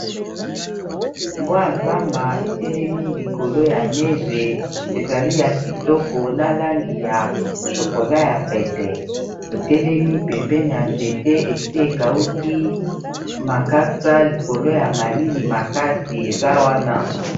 Mbwa ya zamba etelemi likolo ya neje ezali ya kitoko na langi ya chokola ya pete etelemi pembene ya nzete esi ekauki makasa likolo ya malili makasi eza wana.